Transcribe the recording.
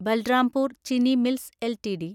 Balrampur Chini mills LTD